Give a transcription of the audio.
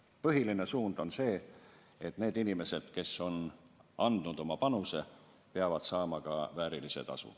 Põhiline suund on see, et need inimesed, kes on andnud oma panuse, peavad saama ka väärilise tasu.